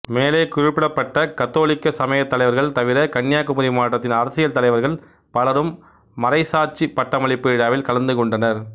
மேலே குறிப்பிடப்பட்ட கத்தோலிக்க சமயத் தலைவர்கள் தவிர கன்னியாகுமரி மாவட்டத்தின் அரசியல் தலைவர்கள் பலரும் மறைச்சாட்சி பட்டமளிப்பு விழாவில் கலந்துகொண்டனர்